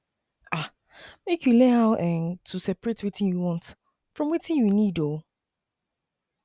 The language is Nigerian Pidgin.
um mek yu learn how um to seperate wetin yu want from wetin yu nid oh